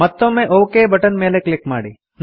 ಮತ್ತೊಮ್ಮೆ okay button ಮೇಲೆ click ಮಾಡಿ